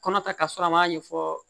Kɔnɔ ta ka sɔrɔ an m'a ɲɛfɔ